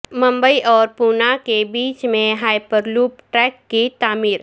ممبئی اور پونا کے بیچ میں ہائیپر لوپ ٹریک کی تعمیر